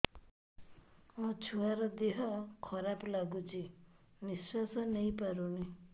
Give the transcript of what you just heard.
ମୋ ଛୁଆର ଦିହ ଖରାପ ଲାଗୁଚି ନିଃଶ୍ବାସ ନେଇ ପାରୁନି